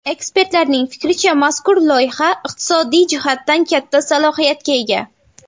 Ekspertlarning fikricha, mazkur loyiha iqtisodiy jihatdan katta salohiyatga ega.